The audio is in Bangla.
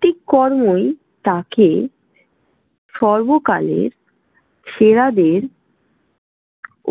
একটি কর্মই তাঁকে সর্বকালের সেরাদের